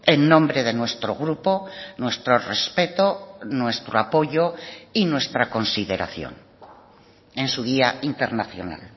en nombre de nuestro grupo nuestro respeto nuestro apoyo y nuestra consideración en su día internacional